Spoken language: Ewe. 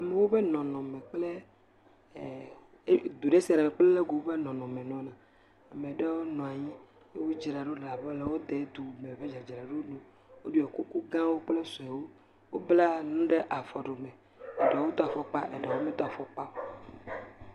Amewo ƒe nɔnɔme kple ɛɛɛ edu ɖe sia ɖe me kple le yi ke woƒe nɔnɔme nɔna. ame ɖewo nɔ anyi. Wodzra ɖo le abe wo dedume ƒe dzadzraɖo ene. Woɖo kukugãwo kple suewo. Wobla nu ɖe afɔɖome. Eɖewo do afɔkpa, eɖewo medo afɔkpa o.